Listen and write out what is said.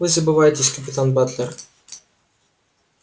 вы забываетесь капитан батлер